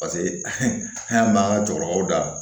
Paseke an b'an ka cɛkɔrɔbaw da